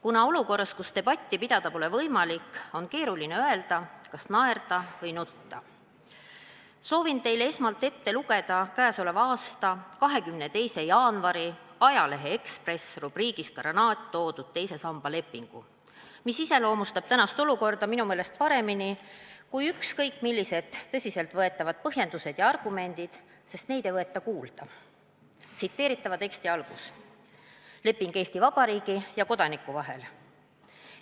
Kuna olukorras, kus debatti pidada pole võimalik, on keeruline öelda, kas naerda või nutta, soovin teile esmalt ette lugeda k.a 22. jaanuari ajalehe Eesti Ekspress rubriigis "Kranaat" toodud teise samba lepingu, mis iseloomustab tänast olukorda minu meelest paremini kui ükskõik millised tõsiselt võetavad põhjendused ja argumendid, sest neid ei võeta kuulda: "Leping Eesti Vabariigi ja Kodaniku vahel.